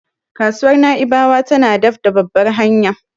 Kasuwar Na'ibawa tana daf da babbar hanya.